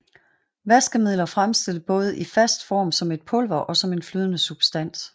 Vaskemidler fremstilles både i fast form som et pulver og som en flydende substans